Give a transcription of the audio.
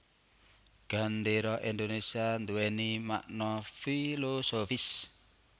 Gendéra Indonésia nduwèni makna filosofis